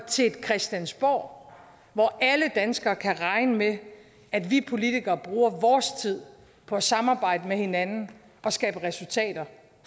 til et christiansborg hvor alle danskere kan regne med at vi politikere bruger vores tid på at samarbejde med hinanden og skabe resultater